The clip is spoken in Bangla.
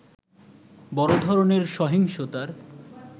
বড় ধরনের সহিংসতার